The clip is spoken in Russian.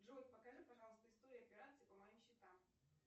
джой покажи пожалуйста историю операций по моим счетам